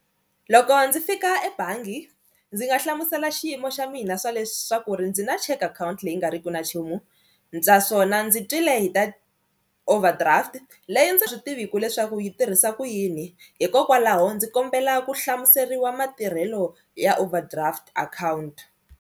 Loko ndzi fika ebangi ndzi nga hlamusela xiyimo xa mina swa leswaku ri ndzi na check akhawunti leyi nga ri ki na nchumu naswona ndzi twile hi ta overdraft leyi ndzi nga swi tiviku leswaku yi tirhisa ku yini hikokwalaho ndzi kombela ku hlamuseriwa matirhelo ya overdraft account.